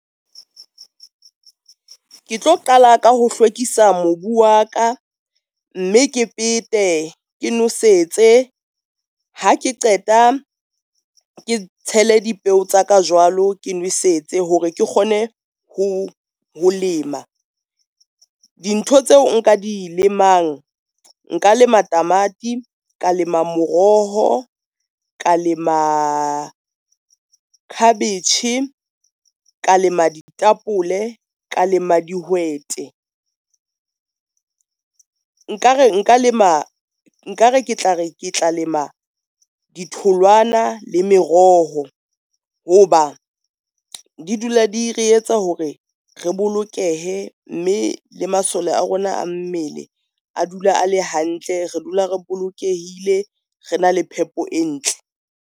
Ke tlo qala ka ho hlwekisa mobu wa ka, mme ke pete, ke nosetse, ha ke qeta ke tshele dipeo tsa ka jwalo ke nwesetse hore ke kgone ho lema. Dintho tseo nka di lemang, nka lema tamati, ka lema moroho, ka lema khabetjhe, ka lema ditapole, ka lema dihwete. Nkare ke tla re ke tla lema ditholwana le meroho ho ba di dula di re etsa hore re bolokehe, mme le masole a rona a mmele a dula a le hantle, re dula re bolokehile re na le phepo e ntle.